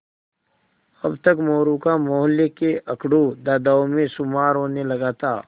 अब तक मोरू का मौहल्ले के अकड़ू दादाओं में शुमार होने लगा था